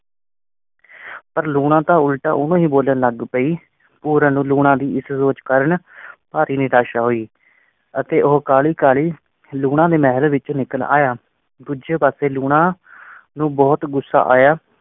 ਪਰ ਲੂਣਾ ਤਾਂ ਉਲਟਾ ਉਹ ਹੀ ਬੋਲਣ ਲੱਗ ਪਈ। ਪੂਰਨ ਨੂੰ ਲੂਣਾਂ ਦੀ ਇਸ ਸੋਚ ਕਾਰਨ ਭਾਰੀ ਨਿਰਾਸ਼ਾ ਹੋਈ ਅਤੇ ਉਹ ਕਾਹਲੀ-ਕਾਹਲੀ ਲੂਣਾਂ ਦੇ ਮਹਿਲ ਵਿੱਚ ਨਿਕਲ ਆਇਆ। ਦੂਜੇ ਪਾਸੇ ਲੂਣਾ ਨੂੰ ਬਹੁਤ ਗੁੱਸਾ ਆਇਆ।